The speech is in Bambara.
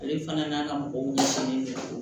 Ale fana n'a ka mɔgɔw